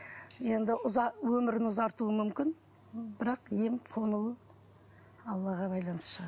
енді өмірін ұзартуы мүмкін бірақ ем қонуы аллаға байланысты шығар